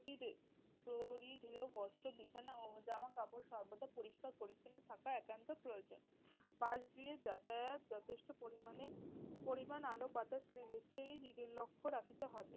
পরিধেয় বস্ত্র বিছানা ও জামাকাপড় সর্বদা পরিষ্কার পরিচ্ছন্ন থাকা একান্ত প্রয়োজন। বাসগৃহে যাতায়াত যথেষ্ট পরিমাণে পরিমাণ আলো বাতাস লেগে সেই দিকে লক্ষ রাখিতে হবে।